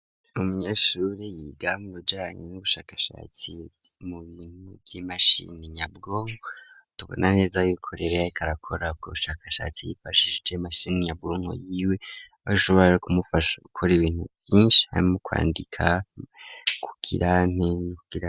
Umunyeshure yiga mubijanye n'ubushakashatsi n''imashini nyabwonko tubona neza yuko ariko arakorako ubushakashatsi yifashije mashini nyabwonko yiwe bishobore kumufasha ukora ibintu vyinshi hamwe no kwandika kukirante.